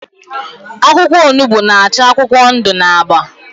akwụkwọ onugbu n'ach akwụkwọ ndụ na agba.